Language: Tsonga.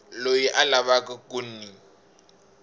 loyi a lavaka ku n